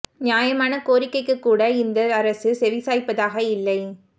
நியாயமான கோரிக்க்கைக்கு கூட இந்த அரசு செவி சாய்ப்பதாக இல்லை